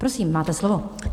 Prosím, máte slovo.